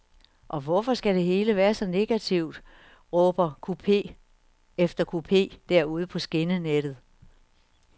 Og hvorfor skal det hele være så negativt, råber kupe efter kupe derude på skinnenettet?